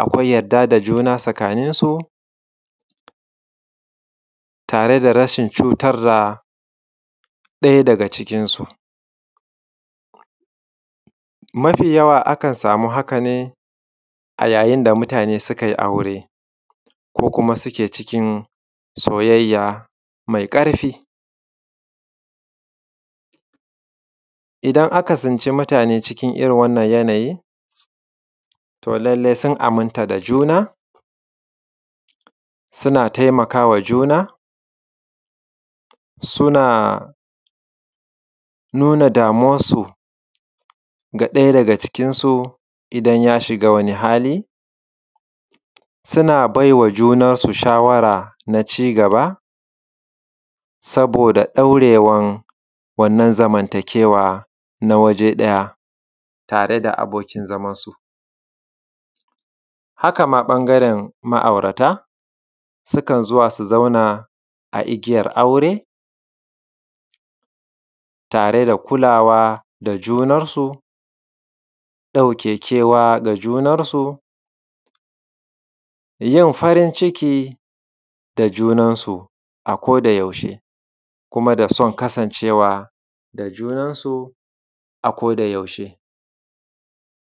akwai yarda da juna tsakaninsu tare da rashin cutar da ɗaya daga cikin su mafiyawa akan samu haka ne a yayin da mutane sukai aure ko kuma suke cikin soyayya maiƙarfi. Idan aka tsinci mutane cikin wannan yanayin to lallai sun aminta da juna suna taimakawa juna, suna nuna damuwar su da ɗaya daga cikin su, idan ya shiga wani hali suna bai wa junan su shawara na ci gaba saboda ɗaurewan wanna zamantakewa na waje ɗaya tare da abokan su. Haka ma ɓangaren ma’aurata sukan so su zauna a igiyar aure tare da kulawa da junansu ɗauke kewa ga juna, su yin farin ciki da junansu akodayaushe kuma da son kasancewa da junansu akodayaushe.